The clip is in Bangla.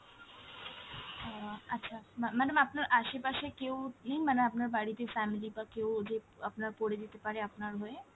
আহ আচ্ছা ম্যা~ madam আপনার আশেপাশে কেউ নেই মানে আপনার বাড়িতে family বা কেউ যে আপনার করে দিতে পারে আপনার হয়ে?